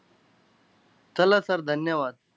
चला sir, धन्यवाद!